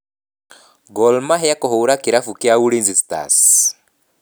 Gor Mahia kũhũũra kirabu kĩa Ulinzi Stars.